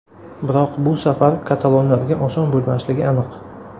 Biroq bu safar katalonlarga oson bo‘lmasligi aniq.